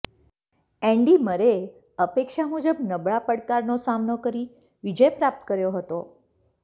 Andy મરેએ અપેક્ષા મુજબ નબળા પડકારનો સામનો કરી વિજય પ્રાપ્ત કર્યો હતો